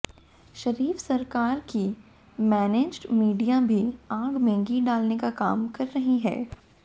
शरीफ सरकार की managed media भी आग में घी डालने का काम कर रही है